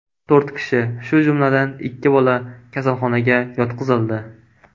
To‘rt kishi, shu jumladan, ikki bola kasalxonaga yotqizildi.